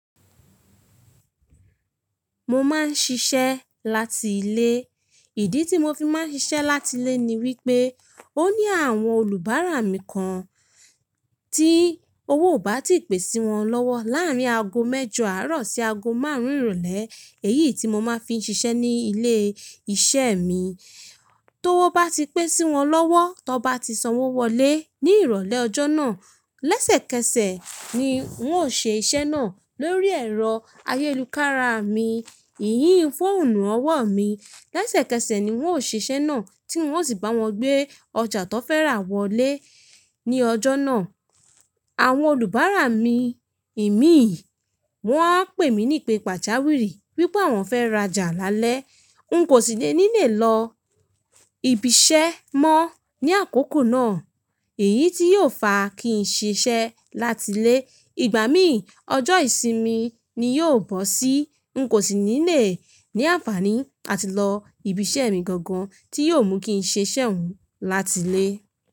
Mo máa ń ṣiṣẹ́ láti ilé. Ìdí tí mo fi máa ń ṣiṣẹ́ láti ilé ni wípé ó ní àwọn olùbárà mí kan tí owó ò bá ti pè sí wọn lọ́wọ́ láàárín ago mẹ́jọ àárọ̀ sí ago márùn-ún ìrólé. Èyí tí mo máa fi ń ṣiṣẹ́ ní ilé-iṣẹ́ mi, tí owó bá ti pé sí wọn lọ́wọ́, tó bá ti sanwó wọlé ní ìrólé ọjọ́ náà. Lẹ́sẹ̀kẹsẹ̀ ni un óò ṣe iṣẹ́ náà lórí ẹ̀rọ ayélukára mi iyun fóònù ọwọ́ mi lẹ́sẹ̀kẹsẹ̀ ni un ó ṣe iṣẹ́ náà tí un ó sì báwọn gbé ọjà tí wọ́n fẹ́ rà wọlé ní ọjọ́ náà. Àwọn olùbárà mi, èmi wáa ń pè mí nípe pàjàwìrì wípé àwọn fẹ́ rajà lálẹ́. N kò sì ní lè lọ ibi iṣẹ́ mọ́ ní àkókò náà. Èyí tí yóò fa kí n ṣiṣẹ́ láti ilé. Ìgbà mí ọjọ́ ìsinmi ni yóò bọ́ sí. N kò sì ní lè ní àǹfààní àti lọ ibi iṣẹ́ mi gangan tí yóò mú kí ṣe iṣẹ́ òun láti ilé.